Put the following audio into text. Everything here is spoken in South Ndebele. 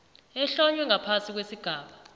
ehlonywe ngaphasi kwesigaba